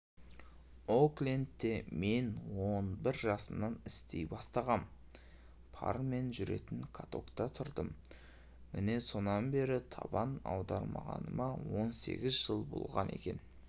оклендте мен он бір жасымнан істей бастағам пармен жүретін катокта тұрдым міне сонан бері табан аудармағаныма он сегіз жыл болған екен